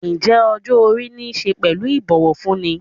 Ǹjẹ́ ọjọ́-orí niṣe pẹ̀lú ibowofunni?